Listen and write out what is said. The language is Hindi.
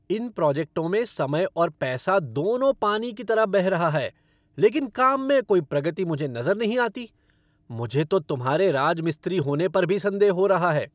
इन प्रोजेक्टों में समय और पैसा दोनों पानी की तरह बह रहा है लेकिन काम में कोई प्रगति मुझे नज़र नहीं आती, मुझे तो तुम्हारे राजमिस्त्री होने पर भी संदेह हो रहा है।